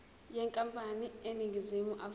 yenkampani eseningizimu afrika